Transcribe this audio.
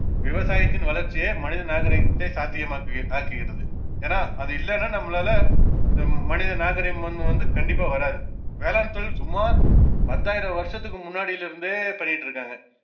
விவசாயத்தின் வளர்ச்சியே மனித நாகரீகத்தை சாத்தியமாக்கு~ ஆக்குகிறது ஏன்னா அது இல்லனா நம்மளால நம் மனிதநாகரீகம் வந்~ வந்து கண்டிப்பா வராது வேளாண்தொழில் சுமார் பத்தாயிரம் வருஷத்துக்கு முன்னாடியிலிருந்தே பண்ணிட்டுருக்காங்க